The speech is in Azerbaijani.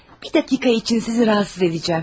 Bir dəqiqə için sizi narahat edəcəm.